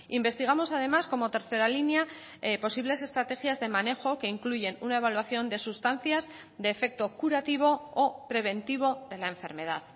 investigamos además como tercera línea posibles estrategias de manejo que incluyen una evaluación de sustancias de efecto curativo o preventivo de la enfermedad